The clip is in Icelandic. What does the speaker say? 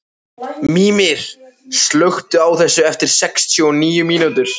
Mímir, slökktu á þessu eftir sextíu og níu mínútur.